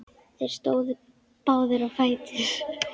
Þeir stóðu báðir á fætur.